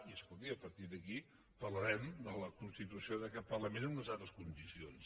i escolti a partir d’aquí parlarem de la constitució d’aquest parlament en unes altres condicions